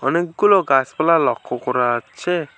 অনেকগুলো গাছপালা লক্ষ করা আচ্ছে ।